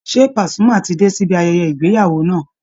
Ṣé Pasuma ti dé sibi ayẹyẹ ìgbéyàwó náà?